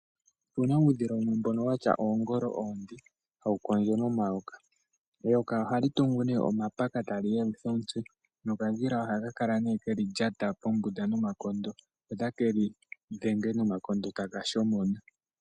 Opuna uudhila wumwe mbono watya oongolo onde hawu kondjo nomayoka. Eyoka ohali tungu ne omapaka tali yelutha omutse nokadhila ohaka kala keli lyata pombunda nomanyala ko takeli dhenge nomanyala taka shomona.